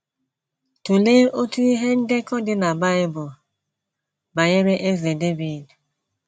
Tụlee otu ihe ndekọ dị na Bible banyere Eze Devid.